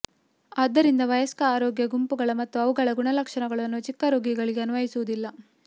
ಆದ್ದರಿಂದ ವಯಸ್ಕ ಆರೋಗ್ಯ ಗುಂಪುಗಳ ಮತ್ತು ಅವುಗಳ ಗುಣಲಕ್ಷಣಗಳನ್ನು ಚಿಕ್ಕ ರೋಗಿಗಳಿಗೆ ಅನ್ವಯಿಸುವುದಿಲ್ಲ